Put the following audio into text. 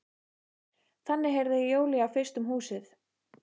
Þannig heyrði Júlía fyrst um húsið.